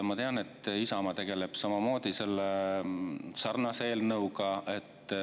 Ma tean, et Isamaa tegeleb sarnase eelnõuga.